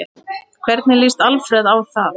Hvernig lýst Alfreð á það?